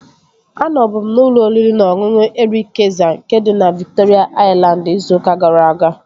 Anọbu m n'ụlọ oriri na ọṅụṅụ Erik Kayzer, nke dị na Viktoria Aịlandị, izu ụka gara aga